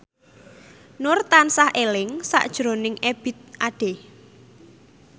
Nur tansah eling sakjroning Ebith Ade